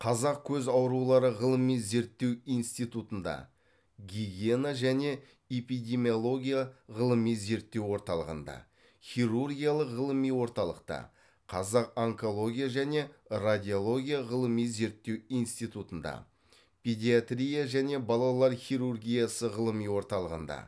қазақ көз аурулары ғылыми зерттеу институтында гигиена және эпидемиология ғылыми зерттеу орталығында хирургиялық ғылыми орталықта қазақ онкология және радиология ғылыми зерттеу институтында педиатрия және балалар хирургиясы ғылыми орталығында